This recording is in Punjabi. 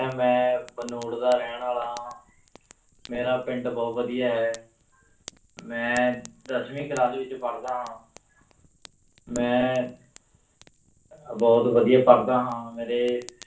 ਮੈਂ ਭਨੋੜ ਦਾ ਰਹਿਣ ਵਾਲਾ ਹਾਂ ਮੇਰਾ ਪਿੰਡ ਬਹੁਤ ਵਧੀਆ ਹੈ ਮੈਂ ਦਸਵੀਂ class ਵਿੱਚ ਪੜ੍ਹਦਾ ਹਾਂ ਮੈਂ ਅਹ ਬਹੁਤ ਵਧੀਆ ਪੜ੍ਹਦਾ ਹਾਂ ਮੇਰੇ